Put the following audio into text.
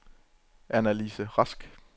Annalise Rask